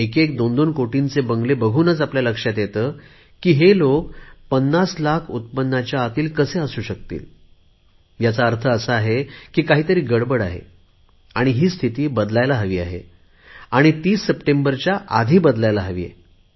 एकएक दोनदोन कोटींचे बंगले बघूनच लक्षात येते की हे लोक पन्नास लाख उत्पन्नाच्या आतील कसे असू शकतील याचा अर्थ असा आहे की काही तरी गडबड आहे ही स्थिती बदलायला हवी आहे आणि 30 सप्टेंबरच्या आधी बदलायला हवी आहे